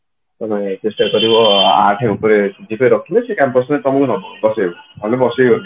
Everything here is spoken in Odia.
ତମେ ଚେଷ୍ଟା କରିବ ଆଠେ ଉପରେ CGPA ରଖିବାକୁ campus ରେ ତମକୁ ନବ ମାନେ ବସେଇବ ନହେଲେ ବସେଇବନି